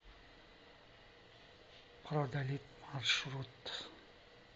продалитъ маршрут